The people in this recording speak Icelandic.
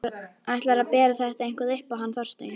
Ætlarðu að bera þetta eitthvað upp á hann Þorstein?